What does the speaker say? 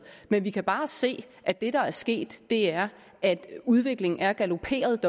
men vi kan bare se at det der er sket er at udviklingen er galoperet